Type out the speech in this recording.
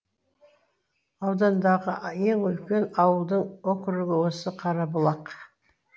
аудандағы ең үлкен ауылдың округ осы қарабұлақ